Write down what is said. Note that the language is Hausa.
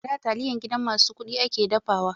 A da taliya gidan masu kuɗi ake dafawa.